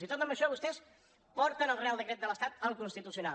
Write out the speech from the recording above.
i tot i això vostès porten el reial decret de l’estat al constitucional